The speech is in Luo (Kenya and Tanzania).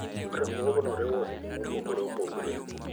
Riwruokno riwo ohelni mopogore opogore.